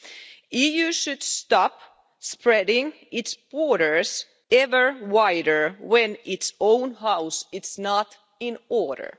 The EU should stop spreading its borders ever wider when its own house is not in order.